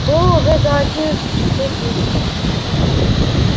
было уже за одиннадцать часов вечера